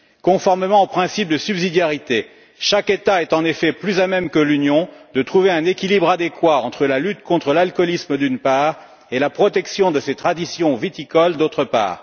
Conformément au principe de subsidiarité, chaque État est en effet plus à même que l'Union de trouver un équilibre adéquat entre la lutte contre l'alcoolisme, d'une part, et la protection de ses traditions viticoles, d'autre part.